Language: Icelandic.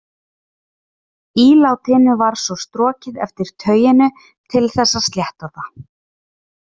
Ílátinu var svo strokið eftir tauinu til þess að slétta það.